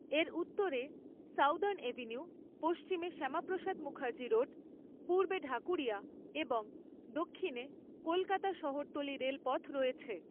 এর উত্তরে southern avenue, পশ্চিমে শ্যামাপ্রসাদ মুখার্জি রোড, পূর্বে ঢাকুরিয়া এবং দক্ষিণে কলকাতা শহরতলি রেলপথ রয়েছে।